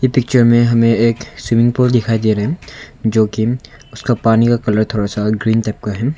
Picture में हमे एक स्विमिंग पुल दिखाई दे रहा है जो कि उसका पानी का कलर थोड़ा ग्रीन टाइप का है।